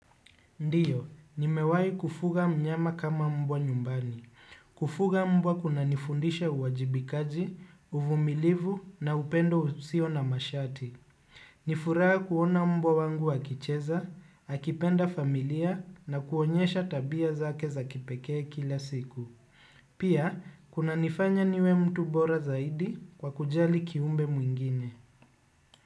Ndio, nimewahi kufuga mnyama kama mbwa nyumbani. Kufuga mbwa kunanifundisha uwajibikaji, uvumilivu na upendo usio na masharti. Nifuraha kuona mbwa wangu akicheza, akipenda familia na kuonyesha tabia zake za kipekee kila siku. Pia, kunanifanya niwe mtu bora zaidi kwa kujali kiumbe mwingine.